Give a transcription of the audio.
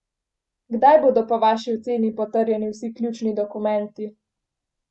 Kdaj bodo po vaši oceni potrjeni vsi ključni dokumenti?